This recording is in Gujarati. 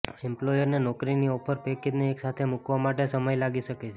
એમ્પ્લોયરને નોકરીની ઓફર પેકેજને એકસાથે મૂકવા માટે સમય લાગી શકે છે